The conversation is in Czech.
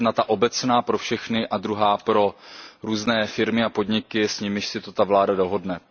Jedna ta obecná pro všechny a druhá pro různé firmy a podniky, s nimiž si to ta vláda dohodne.